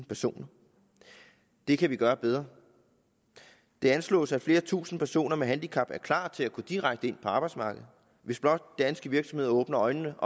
personer det kan vi gøre bedre det anslås at flere tusinde personer med handicap er klar til at gå direkte ind på arbejdsmarkedet hvis blot danske virksomheder åbner øjnene